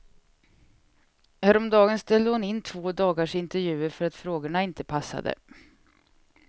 Häromdagen ställde hon in två dagars intervjuer för att frågorna inte passade.